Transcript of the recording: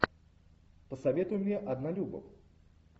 посоветуй мне однолюбов